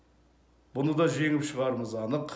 бұны да жеңіп шығарымыз анық